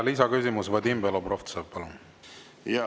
Lisaküsimus, Vadim Belobrovtsev, palun!